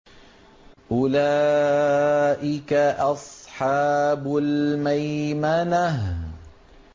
أُولَٰئِكَ أَصْحَابُ الْمَيْمَنَةِ